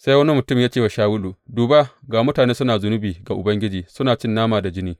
Sai wani mutum ya ce wa Shawulu, Duba, ga mutane suna zunubi ga Ubangiji, suna cin nama da jini.